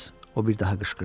O bir daha qışqırdı.